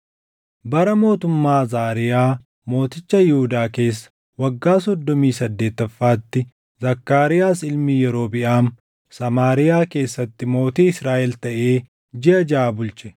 Bara mootummaa Azaariyaa mooticha Yihuudaa keessa waggaa soddomii saddeettaffaatti Zakkaariyaas ilmi Yerobiʼaam Samaariyaa keessatti mootii Israaʼel taʼee jiʼa jaʼa bulche.